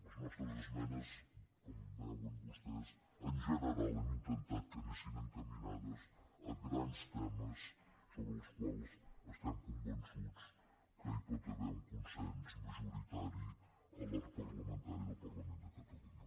les nostres esmenes com veuen vostès en general hem intentat que anessin encaminades a grans temes sobre els quals estem convençuts que hi pot haver un consens majoritari a l’arc parlamentari del parlament de catalunya